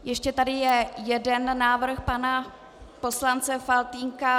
Ještě tady je jeden návrh pana poslance Faltýnka.